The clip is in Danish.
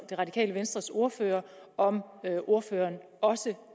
radikale venstres ordfører om ordføreren også